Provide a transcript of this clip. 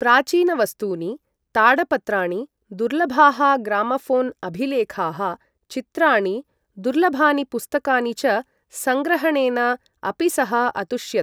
प्राचीनवस्तूनि, ताडपत्राणि, दुर्लभाः ग्रामोफोन् अभिलेखाः, चित्राणि, दुर्लभानि पुस्तकानि च सङ्ग्रहणेन अपि सः अतुष्यत्।